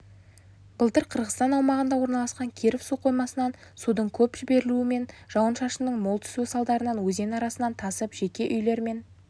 былтыр қырғызстан аумағында орналасқан киров су қоймасынан судың көп жіберілуі мен жауын-шашынның мол түсуі салдарынан өзен арнасынан тасып жеке үйлер мен